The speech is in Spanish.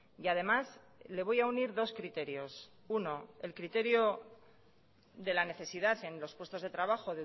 y además le voy a unir dos criterios uno el criterio de la necesidad en los puestos de trabajo